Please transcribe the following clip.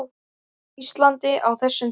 Íslandi á þessum tíma.